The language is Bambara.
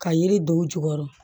Ka yiri don u jukɔrɔ